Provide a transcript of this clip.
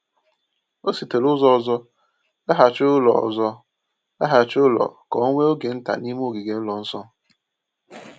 O sitere ụzọ ọzọ laghachi ụlọ ọzọ laghachi ụlọ ka o nwee oge nta n’ime ogige ụlọ nsọ.